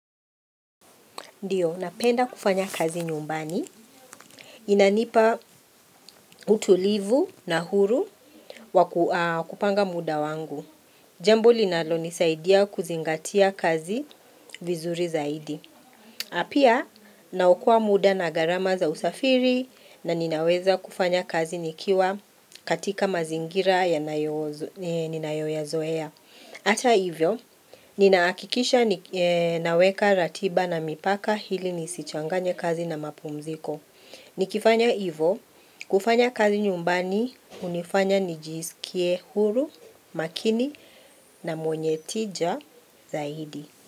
Ndiyo, napenda kufanya kazi nyumbani. Inanipa utulivu na huru wakupanga muda wangu. Jambo linalo nisaidia kuzingatia kazi vizuri zaidi. A pia, naokoa muda na garama za usafiri na ninaweza kufanya kazi nikiwa katika mazingira ninayoo yazoea. Ata hivyo, ninahakikisha naweka ratiba na mipaka ili nisichanganye kazi na mapumziko. Nikifanya hivyo, kufanya kazi nyumbani, hunifanya nijisikie huru, makini na mwenye tija zaidi.